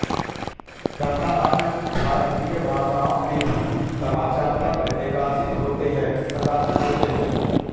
तथा अन्य भारतीय भाषाओं में भी समाचार पत्र प्रकाशित होते हैं